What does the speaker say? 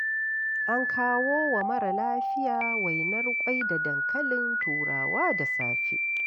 An kawo wa mara lafiyar wainar ƙwai da dankalin turawa da safe.